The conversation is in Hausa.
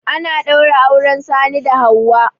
Ana ɗaura auren Sani da Hauwa.